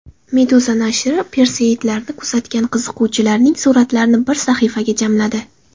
Meduza nashri Perseidlarni kuzatgan qiziquvchilarning suratlarini bir sahifaga jamladi .